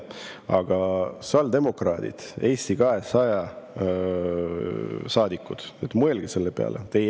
Aga sotsiaaldemokraadid ja Eesti 200 saadikud, mõelge selle peale!